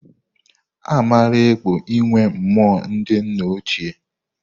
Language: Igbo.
Amaara ekpo inwe mmụọ ndị nna ochie.